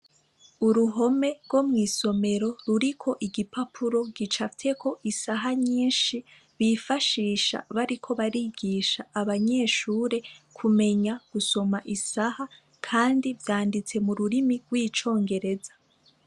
uruhome rwo mwisomero ruriko igipapura gicapfyeko isaha nyishi bifashisha bariko barigisha abanyeshure kumenya gusoma isaha kandi vyanditse mururimi rw' icongereza.